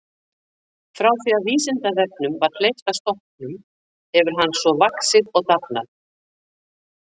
Frá því að Vísindavefnum var hleypt af stokkunum hefur hann svo vaxið og dafnað.